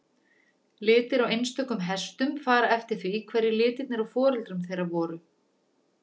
Litir á einstökum hestum fara eftir því hverjir litirnir á foreldrum þeirra voru.